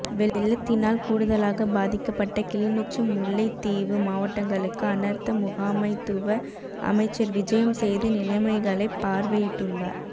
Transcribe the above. வெள்ளத்தினால் கூடுதலாக பாதிக்கப்பட்ட கிளிநொச்சி முல்லைத்தீவு மாவட்டங்களுக்கு அனர்த்த முகாமைத்துவ அமைச்சர் விஜயம் செய்து நிலைமைகளைப் பார்வையிட்டுள்ளார்